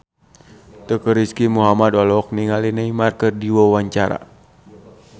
Teuku Rizky Muhammad olohok ningali Neymar keur diwawancara